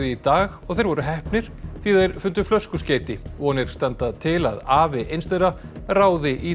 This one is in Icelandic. í dag og þeir voru heppnir því þeir fundu flöskuskeyti vonir standa til að afi eins þeirra ráði í